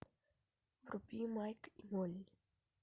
вруби майк и молли